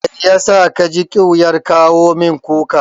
Mai yasa ka ji ƙyuyar kawo min kukar?